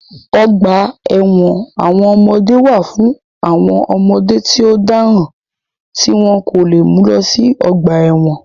Ọgbà ẹ̀wọ̀n àwọn ọmọdé wà fún àwọn ọmọdé tí ó dáràn tí wọ́n kò lè mú lọ sí ọgbà ẹ̀wọ̀n